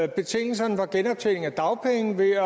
betingelserne for genoptjening af dagpenge ved